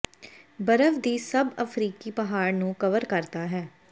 ਬਰਫ ਦੀ ਸਭ ਅਫ਼ਰੀਕੀ ਪਹਾੜ ਨੂੰ ਕਵਰ ਕਰਦਾ ਹੈ